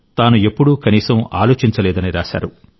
తాను ఎప్పుడూ కనీసం ఆలోచించలేదని రాశారు